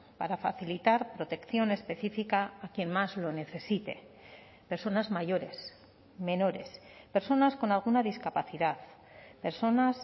para facilitar protección específica a quien más lo necesite personas mayores menores personas con alguna discapacidad personas